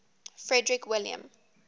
frederick william